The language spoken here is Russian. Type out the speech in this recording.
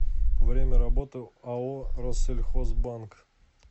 время работы ао россельхозбанк